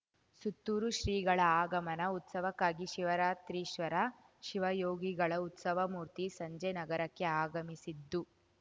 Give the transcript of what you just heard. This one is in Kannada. ಸುತ್ತೂರು ಶ್ರೀಗಳ ಆಗಮನ ಉತ್ಸವಕ್ಕಾಗಿ ಶಿವರಾತ್ರೀಶ್ವರ ಶಿವಯೋಗಿಗಳ ಉತ್ಸವಮೂರ್ತಿ ಸಂಜೆ ನಗರಕ್ಕೆ ಆಗಮಿಸಿತ್ತು